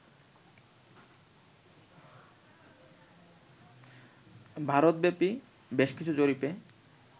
ভারতব্যাপী বেশ কিছু জরিপে